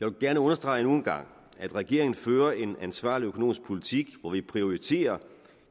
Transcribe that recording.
jeg vil gerne understrege endnu en gang at regeringen fører en ansvarlig økonomisk politik hvor vi prioriterer